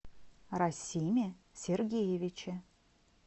расиме сергеевиче